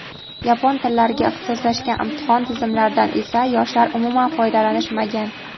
yapon tillariga ixtisoslashgan imtihon tizimlaridan esa yoshlar umuman foydalanishmagan.